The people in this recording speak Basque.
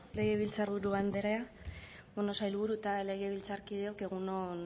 legebiltzarburu andrea bueno sailburu eta legebiltzarkideok egun on